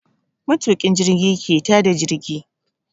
Matuƙin jirgi ke ta da jirgi.